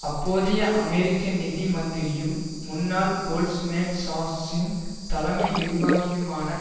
அப்போதைய அமெரிக்க நிதி மந்திரியும் முன்னாள் கோல்ட்மேன் சாக்ஷ்ஸின் தலைமை நிர்வாகியுமான